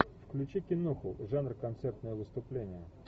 включи киноху жанр концертное выступление